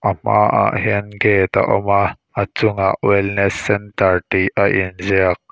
a hmaah hian gate a awm a a chung ah wellness centre a inziak.